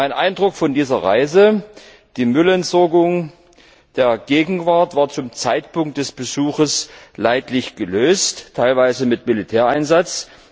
Mein Eindruck von dieser Reise Die Müllentsorgung der Gegenwart war zum Zeitpunkt des Besuchs leidlich gelöst, teilweise mit Militäreinsatz.